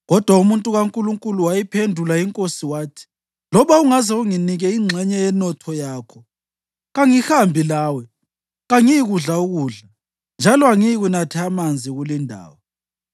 Kodwa umuntu kaNkulunkulu wayiphendula inkosi wathi, “Loba ungaze unginike ingxenye yenotho yakho, kangihambi lawe; kangiyikudla ukudla, njalo angiyikunatha amanzi kulindawo;